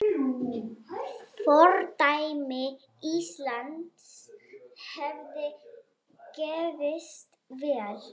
Fordæmi Íslands hefði gefist vel.